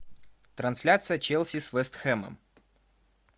трансляция челси с вест хэмом